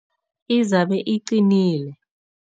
Izabe iqinile.